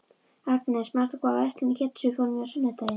Agnes, manstu hvað verslunin hét sem við fórum í á sunnudaginn?